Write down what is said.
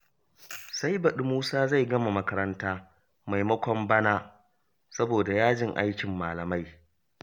Sai baɗi Musa zai gama makaranta maimakon bana, saboda yajin aikin malamai